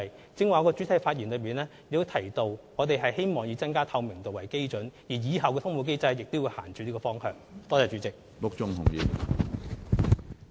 我剛才在主體答覆中提到，我們希望以增加透明度為基準，而日後的通報機制亦會朝這個方向走。